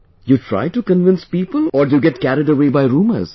You try to convince people or do you get carried away by rumours